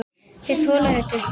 Þeir þola þetta ekki.